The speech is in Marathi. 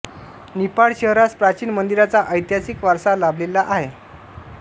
निफाड शहरास प्राचीन मंदिरांचा ऐतिहासिक वारसा लाभलेला आहे